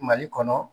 Mali kɔnɔ